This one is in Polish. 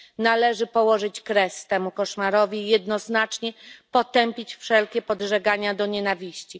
Należy położyć kres temu koszmarowi i jednoznacznie potępić wszelkie podżegania do nienawiści.